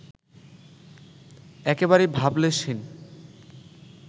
একেবারেই ভাবলেশহীন